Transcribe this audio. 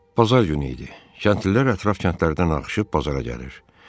Bazar günü idi, kəndlilər ətraf kəndlərdən axışıb bazara gəlirdi.